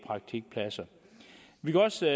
praktikpladser vi kan også